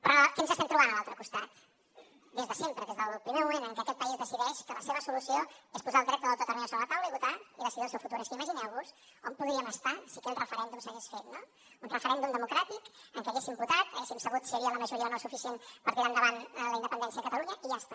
però què ens estem trobant a l’altre costat des de sempre des del primer moment en què aquest país decideix que la seva solució és posar el dret a l’autodeterminació sobre la taula i votar i decidir el seu futur és que imagineu vos on podríem estar si aquell referèndum s’hagués fet no un referèndum democràtic en què haguéssim votat haguéssim sabut si hi havia la majoria o no suficient per tirar endavant la independència de catalunya i ja està